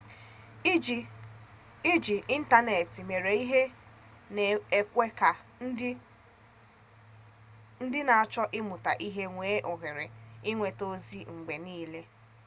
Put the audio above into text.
iji ịntanetị mere ihe na-ekwe ka ndị na-achọ ịmụta ihe nwee ohere inweta ozi mgbe nile